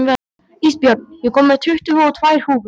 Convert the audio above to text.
Ísbjörn, ég kom með tuttugu og tvær húfur!